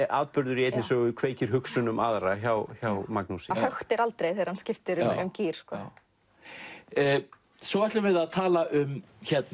atburður í einni sögu kveikir hugsun um aðra hjá hjá Magnúsi hann höktir aldrei þegar hann skiptir um gír svo ætlum við að tala um